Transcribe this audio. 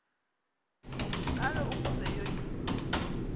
ngalo ukuze yoyikwe